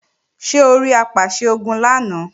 Ṣé orí Apàṣẹ-Ogun lánàá?